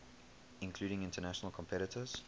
including international competitors